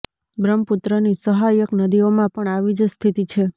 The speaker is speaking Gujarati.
બ્રહ્મપુત્રની સહાયક નદીઓમાં પણ આવી જ સ્થિતિ છે